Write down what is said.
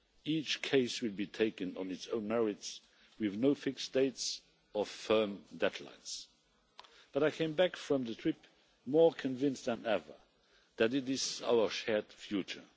Each case will be taken on its own merits, with no fixed dates or firm deadlines. But I came back from the trip more convinced than ever that it is our shared future.